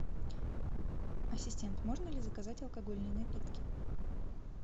ассистент можно ли заказать алкогольные напитки